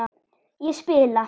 Ég spila!